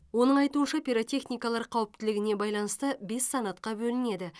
оның айтуынша пиротехникалар қауіптілігіне байланысты бес санатқа бөлінеді